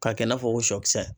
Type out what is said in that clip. K'a kɛ i n'a fɔ ko sɔ kisɛ